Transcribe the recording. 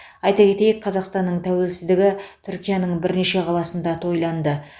айта кетейік қазақстанның тәуелсіздігі түркияның бірнеше қаласында тойланды